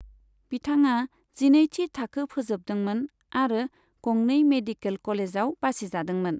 बिथाङा जिनैथि थाखो फोजोबदोंमोन आरो गंनै मेडिकेल कलेजाव बासिजादोंमोन।